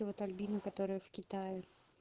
вот альбина которая в китае